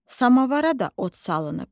Samavara da od salınıb.